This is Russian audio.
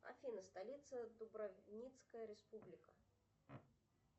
афина столица дубровницкая республика